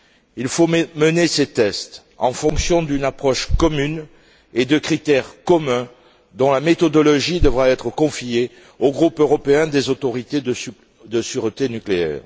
Il faut mener ces tests en fonction d'une approche commune et de critères communs, dont la méthodologie devra être confiée au groupe européen des autorités de sûreté nucléaire.